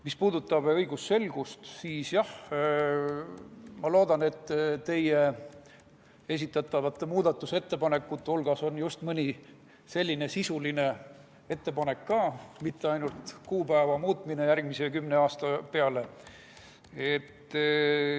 Mis puudutab õigusselgust, siis jah, ma loodan, et teie esitatavate muudatusettepanekute hulgas on mõni sisuline ettepanek ka, mitte ainult kuupäeva muutmine järgmise kümne aasta peale.